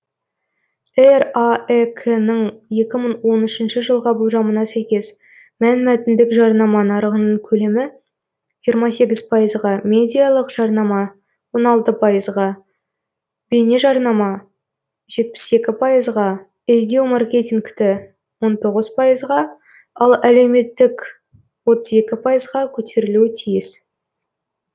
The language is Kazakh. раэк ың екі мың он үшінші жылға болжамына сәйкес мәнмәтіндік жарнама нарығының көлемі жиырма сегіз пайызға медиялық жармана он алты пайызға бейнежарнама жетпіс екі пайызға іздеу маркетингті он тоғыз пайызға ал әлеуметтік отыз екі пайызға көтерілуі тиіс